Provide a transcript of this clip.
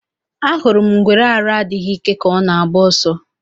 Ahụrụ m ngwere arụ adịghị ike ka ọ na agba oso